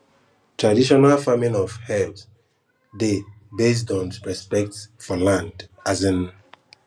traditional farming of herbs dey based on respect for land um